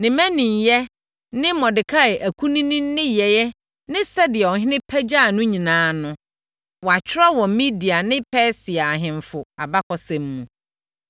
Ne mmaninyɛ ne Mordekai akunini nneyɛɛ ne sɛdeɛ ɔhene pagyaa no nyinaa no, wɔatwerɛ wɔ Media ne Persia ahemfo abakɔsɛm mu.